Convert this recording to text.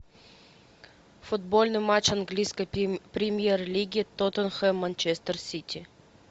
футбольный матч английской премьер лиги тоттенхэм манчестер сити